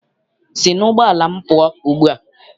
Sị n'ụgbọala m pụọ ugbua!